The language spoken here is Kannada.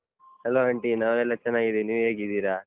Hello aunty ನಾವೆಲ್ಲ ಚೆನ್ನಾಗಿದಿನಿ, ನೀವ್ ಹೇಗಿದಿರಾ?